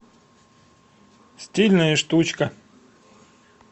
стильная штучка